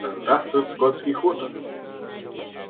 да здравствует скотский хутор